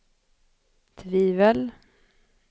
tvivel